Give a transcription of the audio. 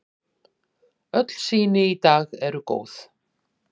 Öll sýni í dag eru góð.